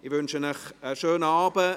Ich wünsche Ihnen einen schönen Abend.